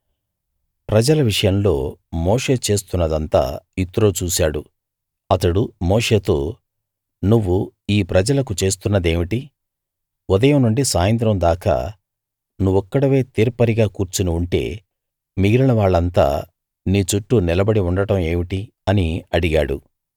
ప్రజల విషయంలో మోషే చేస్తున్నదంతా యిత్రో చూశాడు అతడు మోషేతో నువ్వు ఈ ప్రజలకు చేస్తున్నదేమిటి ఉదయం నుండి సాయంత్రం దాకా నువ్వొక్కడివే తీర్పరిగా కూర్చుని ఉంటే మిగిలిన వాళ్ళంతా నీ చుట్టూ నిలబడి ఉండడం ఏమిటి అని అడిగాడు